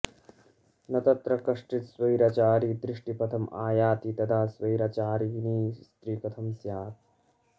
न तत्र कश्चित् स्वैराचारी दॄष्टिपथम् आयाति तदा स्वैराचारिणी स्त्री कथं स्यात्